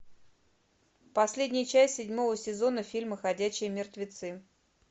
последняя часть седьмого сезона фильма ходячие мертвецы